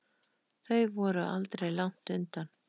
Þau voru aldrei langt undan.